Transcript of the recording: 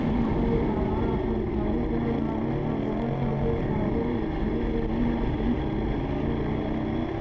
यहां पर एक अलार्म आता दिखाई दे रहा है और बहुत सारे फायदे दिखाई दे रहे हैं दिखाइए दे रहे हैं --